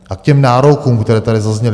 A k těm nárokům, které tady zazněly.